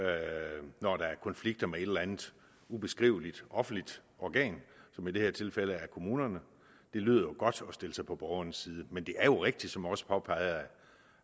er konflikter med et eller andet ubeskriveligt offentligt organ som i det her tilfælde er kommunerne det lyder godt at stille sig på borgerens side men det er rigtigt som også påpeget